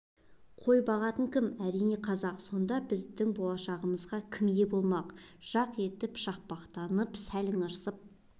қой бағатын кім әрине қазақ сонда біздің болашағымызға кім ие болмақ жақ еті шақпақтанып сәл ыңырсып